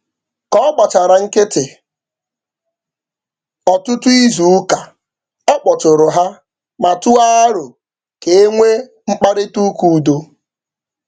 Ka ọ gbachara nkịtị ọtụtụ izuụka ọ kpọtụụrụ ha ma tụọ arọ ka e nwee mkparịtaụka udo.